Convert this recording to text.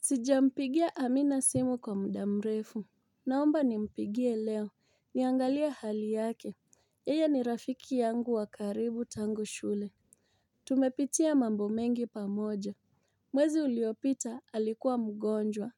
Sijampigia Amina Simu kwa muda mrefu. Naomba ni mpigie leo niangalie hali yake yeye ni rafiki yangu wa karibu tangu shule. Tumepitia mambo mengi pamoja mwezi uliopita alikuwa mgonjwa.